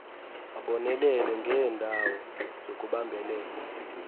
abonelele ngeendawo zokubambelela